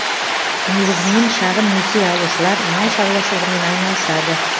негізінен шағын несие алушылар мал шаруашылығымен айналысады